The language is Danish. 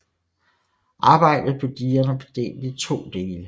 Arbejdet på digerne blev delt i to dele